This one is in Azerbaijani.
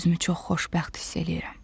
Özümü çox xoşbəxt hiss eləyirəm.